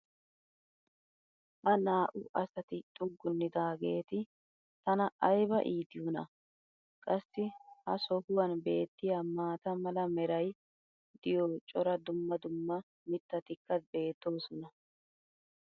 ha naa"u asati xuggunidaageeti tana ayba iitiyoonaa. qassi ha sohuwan beetiya maata mala meray diyo cora dumma dumma mitatikka beetoosona.